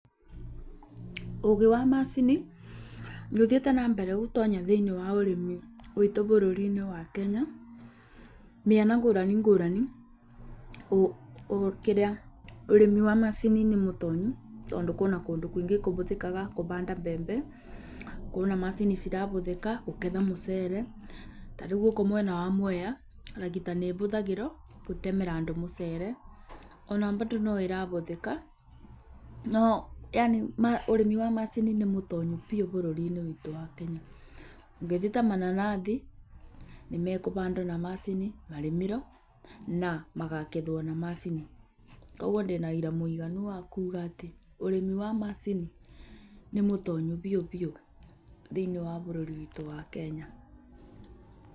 Ũũgĩ wa macini nĩũthiĩte na mbere gũtonya thĩ-inĩ wa ũrĩmi witũ bũrũri-inĩ wa Kenya, mĩena ngũrani ngũrani. Ũrĩmi wa macini nĩmũtonyu tondũ kwĩna kũndũ kũingĩ kũbũthĩkaga kũbanda mbembe, kwĩna macini cirabũthĩka kũgetha mucere. Ta rĩu gũkũ mwena wa Mwea ragita nĩ ĩhũthagĩrwo gũtemera andũ mũcere. Ona mbandũ no ĩrabũthĩka, yani ũrĩmi wa macini nĩ mũtonyu biũ bũrũri-inĩ witũ wa Kenya. Ũngĩthiĩ ta mananathi; nĩmekũbandwo na macini, marĩmĩrwo na makagethwo ma macini. Kogwo ndĩ na ũĩra mũiganu wa kuuga atĩ ũrĩmi wa macini nĩ mũtonyu biũ biũ thĩini wa bũrũri witũ wa Kenya.